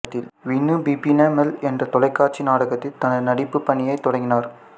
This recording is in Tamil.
வினு பிபின மல் என்ற தொலைக்காட்சி நாடகத்தில் தனது நடிப்புப் பணியை தொடங்கினார்